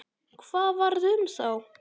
Hvað varð um þá?